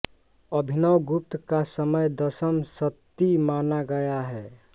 अभिनवगुप्त का समय दशम शती माना गया है